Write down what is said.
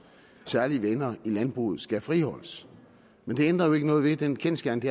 særlige venner i landbruget skal friholdes men det ændrer jo ikke ved den kendsgerning at